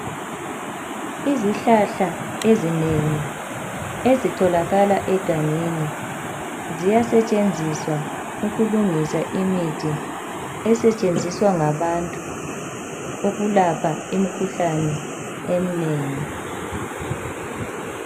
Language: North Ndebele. Izihlahla ezinengi ezitholakala egangeni ziyasetshenziswa ukulungisa imithi esetshenziswa ngabantu ukulapha imikhuhlane eminengi.